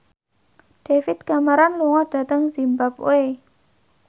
David Cameron lunga dhateng zimbabwe